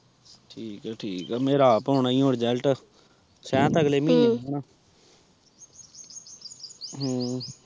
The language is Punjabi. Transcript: ਠੀਕ ਠੀਕ ਮੇਰਾ ਅੱਪ ਆਉਣਾ ਹੁਣ ਰਿਜ਼ਲਟ ਸ਼ਇਦ ਅਗਲੇ ਮਹੀਨੇ ਆਉਣਾ